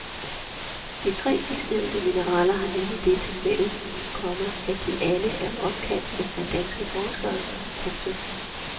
De tre sidstnævnte mineraler har nemlig det tilfælles, komma at de alle er opkaldt efter danske forskere. punktum